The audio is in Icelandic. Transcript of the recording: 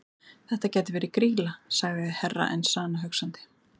Þetta gæti verið Grýla, sagði Herra Enzana hugsandi.